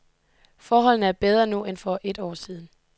Forholdene er bedre nu end for et år siden.